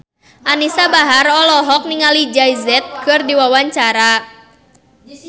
Anisa Bahar olohok ningali Jay Z keur diwawancara